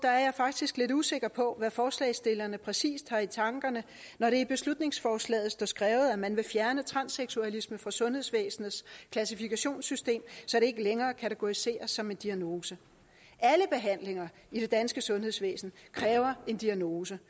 faktisk lidt usikker på hvad forslagsstillerne præcis har i tankerne når der i beslutningsforslaget står skrevet at man vil fjerne transseksualisme fra sundhedsvæsenets klassifikationssystem så det ikke længere kategoriseres som en diagnose alle behandlinger i det danske sundhedsvæsen kræver en diagnose